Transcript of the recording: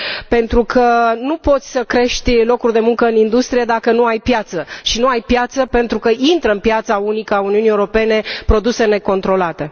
Pentru că nu poți să crești locuri de muncă în industrie dacă nu ai piață și nu ai piață pentru că intră pe piața unică a Uniunii Europene produse necontrolate.